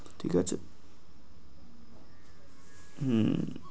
ঠিক আছে। হম